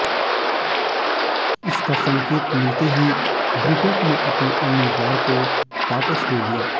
इसका संकेत मिलते ही ब्रिटेन ने अपने उम्मीदवार को वापस ले लिया